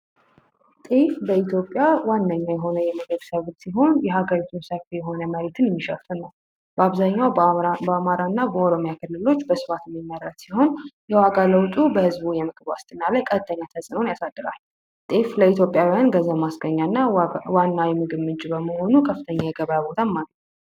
በኢትዮጵያ የሀገሪቱ ዋና የምግብ ሰብል ሲሆን በሀገሪቱ ውስጥ ሰፊ መሬትን የሚሸፍን ነው በአብዛኛው በአማራና በኦሮሚያ ክልሎች በስፋት ይመረታል የዋጋ ለውጡ በህዝቡ የምግብ ዋስትና ላይ ተፅዕኖ ያሳድራል ለኢትዮጵያውያን ገቢ ማስገኛና ዋና የገቢ ምንጭ በመሆኑ በከፍተኛ ሁኔታ ይጠቅማል።